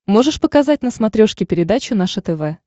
можешь показать на смотрешке передачу наше тв